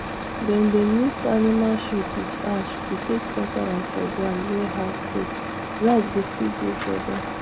dem dey mix animal shit with ash to take scatter am for ground wey hardso grass go fit grow for there